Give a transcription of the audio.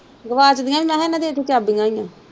ਗਵਾਚ ਗਈਆਂ ਹੀ ਗੀਆਂ ਮੈਂ ਕਿਹਾ ਉਹਨਾਂ ਦੀਆਂ ਉੱਥੇ ਚਾਬੀਆਂ ਹੀ ਗੀਆਂ।